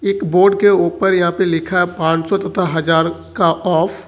एक बोर्ड के ऊपर यहां पर लिखा पांच सौ तथा हजार का ऑफ ।